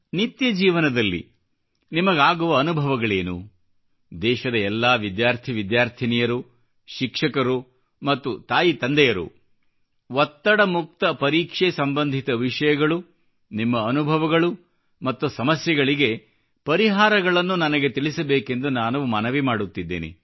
ನಿತ್ಯ ಜೀವನದಲ್ಲಿ ನಿಮಗಾಗುವ ಅನುಭವಗಳೇನು ದೇಶದ ಎಲ್ಲಾ ವಿದ್ಯಾರ್ಥಿ ವಿದ್ಯಾರ್ಥಿನಿಯರು ಶಿಕ್ಷಕರು ಮತ್ತು ತಾಯಿತಂದೆಯರು ಒತ್ತಡ ಮುಕ್ತ ಪರೀಕ್ಷೆಸಂಬಂಧಿತ ವಿಷಯಗಳು ನಿಮ್ಮ ಅನುಭವಗಳು ಮತ್ತು ಸಮಸ್ಯೆಗಳಿಗೆ ಪರಿಹಾರಗಳನ್ನು ನನಗೆ ತಿಳಿಸಬೇಕೆಂದು ನಾನು ಮನವಿ ಮಾಡುತ್ತಿದ್ದೇನೆ